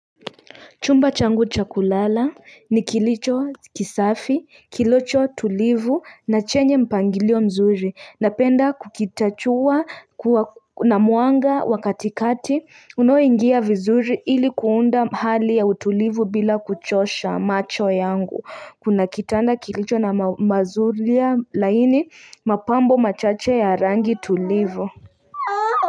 Chumba changu cha kulala ni kilicho kisafi kilicho tulivu na chenye mpangilio mzuri napenda kukitachua na muanga wa katikati unaoingia vizuri ili kuunda hali ya utulivu bila kuchosha macho yangu kuna kitanda kilicho na mazuri laini mapambo machache ya rangi tulivu.